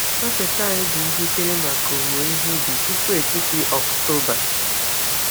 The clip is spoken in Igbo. Ọkpete anyị dị njikere maka owuwe ihe ubi tupu etiti Ọktoba.